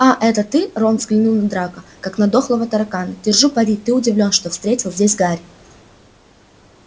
а это ты рон взглянул на драко как на дохлого таракана держу пари ты удивлён что встретил здесь гарри